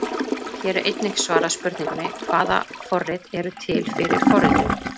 Hér er einnig svarað spurningunni: Hvaða forrit eru til fyrir forritun?